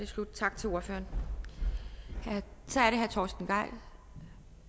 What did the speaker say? så tak til ordføreren så er det herre torsten gejl